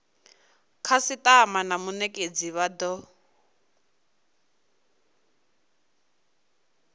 khasitama na munetshedzi vha do